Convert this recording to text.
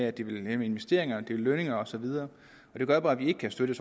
at det vil hæmme investeringer lønninger osv og det gør bare at vi ikke kan støtte